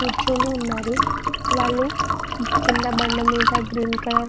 కూర్చొని ఉన్నారు వాళ్లు కింద బండ మీద గ్రీన్ కలర్ --